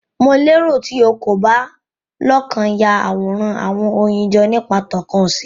Mo lero ti o ko ba lokan a Yaworan awọn oyin jọ nipa tókàn ose